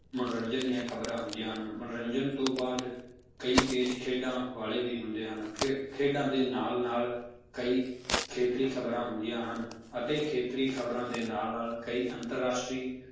ਮੰਨੋਰੰਜਨ ਦੀਆਂ ਖ਼ਬਰਾਂ ਹੁੰਦੀਆਂ ਹਨ ਮੰਨੋਰੰਜਨ ਤੋਂ ਬਾਅਦ ਕਈ page ਖੇਡਾਂ ਵਾਲੇ ਵੀ ਹੁੰਦੇ ਹਨ ਫਿਰ ਖੇਡਾਂ ਦੇ ਨਾਲ ਨਾਲ ਕਈ ਖੇਤਰੀ ਖ਼ਬਰਾਂ ਹੁੰਦੀਆਂ ਹਨ ਅਤੇ ਖੇਤਰੀ ਖ਼ਬਰਾਂ ਦੇ ਨਾਲ ਨਾਲ ਕਈ ਅੰਤਰ ਰਾਸ਼ਟਰੀ